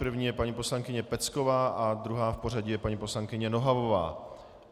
První je paní poslankyně Pecková a druhá v pořadí je paní poslankyně Nohavová.